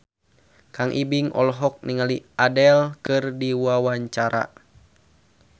Kang Ibing olohok ningali Adele keur diwawancara